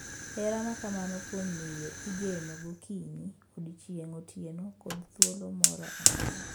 Hera ma kamano kuom miyo igeno gokinyi, odiechieng’, otieno, kod thuolo moro amora.